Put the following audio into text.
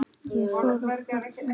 Ég fór fram á gang.